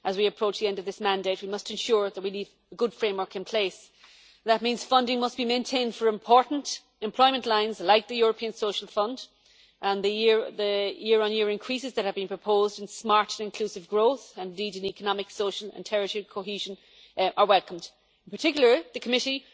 As we approach the end of this mandate, we must ensure that we leave a good framework in place. That means funding must be maintained for important employment lines like the European Social Fund and the year on year increases that have been proposed in smart and inclusive growth and indeed in economic, social and territorial cohesion are welcomed. In particular, the Committee